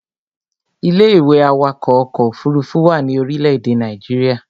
Ilé-ìwé awakọ̀ ọkọ̀ òfurufú wà ní orílé èdè Nàìjíría